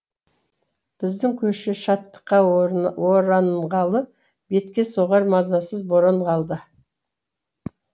біздің көше шаттыққа оранғалы бетке соғар мазасыз боран қалды